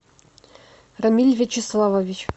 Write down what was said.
рамиль вячеславович